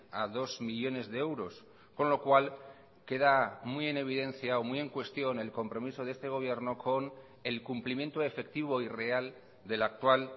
a dos millónes de euros con lo cual queda muy en evidencia o muy en cuestión el compromiso de este gobierno con el cumplimiento efectivo y real de la actual